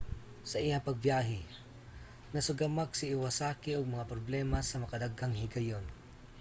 sa iyang pagbiyahe nasugamak si iwasaki og mga problema sa makadaghang higayon